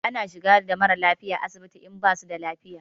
Ana shigar da mara lafiya asibiti in basu da lafiya.